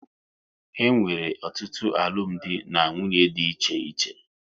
E nwere ọtụtụ alụmdi na nwunye dị iche iche